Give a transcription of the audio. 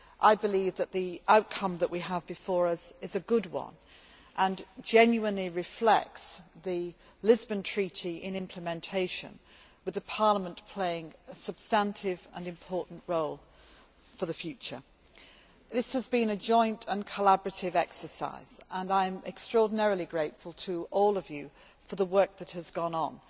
I believe that the outcome that we have before us is a good one and genuinely reflects the Lisbon Treaty in implementation, with Parliament playing a substantive and important role for the future. This has been a joint and collaborative exercise and I am extraordinarily grateful to all of you for the work that has gone on.